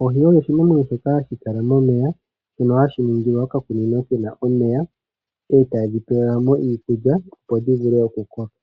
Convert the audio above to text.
Oohi odho oshinamwenyo shoka hashi kala momeya shono hashi ningilwa okakunino ke na omeya e tadhi pewelwa mo iikulya opo dhi vule okukoka.